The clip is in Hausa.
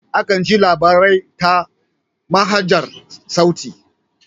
Akan ji labari ta manhajar sauti.